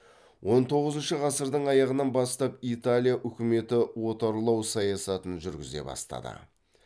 он тоғызыншы ғасырдың аяғынан бастап италия үкіметі отарлау саясатын жүргізе бастады